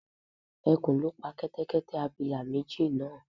Ẹkùn ló pa Kẹ́tẹ́kẹ́tẹ́ abilà méjì náà